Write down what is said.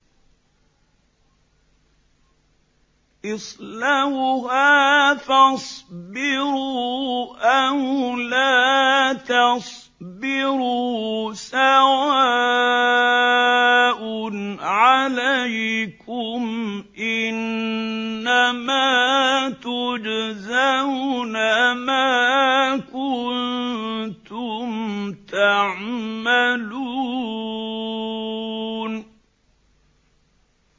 اصْلَوْهَا فَاصْبِرُوا أَوْ لَا تَصْبِرُوا سَوَاءٌ عَلَيْكُمْ ۖ إِنَّمَا تُجْزَوْنَ مَا كُنتُمْ تَعْمَلُونَ